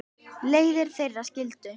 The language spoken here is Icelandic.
Leiðir þeirra skildu.